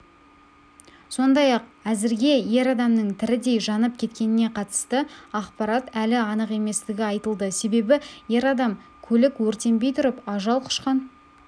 сондай-ақ әзірге ер адамның тірідей жанып кеткеніне қатысты ақпарат әлі анық еместігі айтылды себебі ер адам көлік өртенбей тұрып ажал құшқан